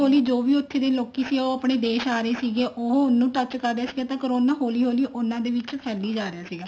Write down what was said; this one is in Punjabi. ਜੋ ਵੀ ਉੱਥੇ ਦੇ ਲੋਕੀ ਸੀ ਉਹ ਦੇਸ਼ ਆ ਰਹੇ ਸੀਗੇ ਉਹ ਉਹਨੂੰ touch ਕਰਦੇ ਸੀਗੇ ਤਾਂ corona ਉਹਨਾ ਦੇ ਵਿੱਚ ਹੋਲੀ ਹੋਲੀ ਫੈਲੀ ਜ ਰਿਹਾ ਸੀ